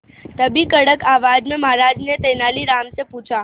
तभी कड़क आवाज में महाराज ने तेनालीराम से पूछा